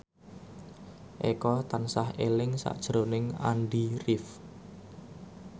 Eko tansah eling sakjroning Andy rif